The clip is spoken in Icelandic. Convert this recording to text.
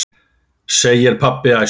segir pabbi æstur.